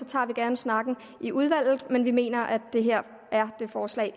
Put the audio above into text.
tager vi gerne snakken i udvalget men vi mener at det her er det forslag